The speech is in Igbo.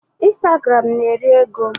Instagram na-eri ego.